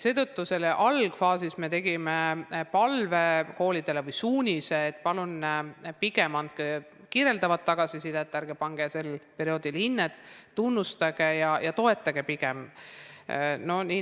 Seetõttu me algfaasis andsime koolidele suunise, et palun pigem andke kirjeldavat tagasisidet, ärge pange sel perioodil hinnet, pigem tunnustage ja toetage õpilasi.